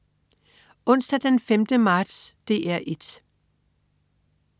Onsdag den 5. marts - DR 1: